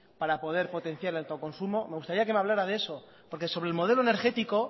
para poder potenciar el autoconsumo me gustaría que me hablara de eso porque sobre el modelo energético